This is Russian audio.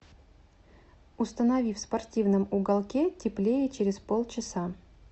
установи в спортивном уголке теплее через полчаса